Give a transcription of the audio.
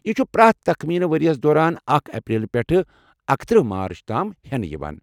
یہِ چھُ پرٛٮ۪تھ تخمینہٕ ورِیس دوران اکھَ اپریل پٮ۪ٹھٕ اکتٔرِہ مارچ تام ہینہٕ یوان